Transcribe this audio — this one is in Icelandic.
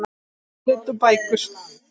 Tímarit og bækur.